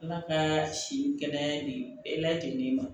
Ala ka si kɛnɛya di bɛɛ lajɛlen ma